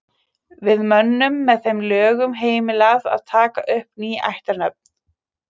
Var mönnum með þeim lögum heimilað að taka upp ný ættarnöfn.